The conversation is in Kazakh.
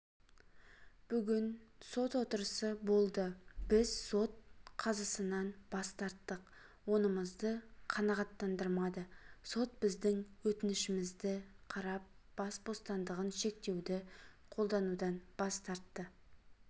бүгін сот отырысы болды біз сот қазысынан бас тарттық онымызды қанағаттандырмады сот біздің өтінішімізді қарап бас бостандығын шектеуді қолданудан бас тартты